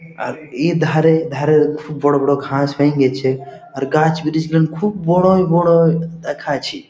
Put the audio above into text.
আর এ ধারে ধারে খুব বড় বড় ঘাস হয়েন গেছে আর গাছ বেরিয়ে ছিলম খুব বড় বড় দেখাছে।